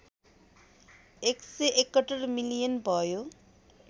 १७१ million भयो